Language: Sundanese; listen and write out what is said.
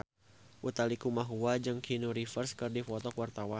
Utha Likumahua jeung Keanu Reeves keur dipoto ku wartawan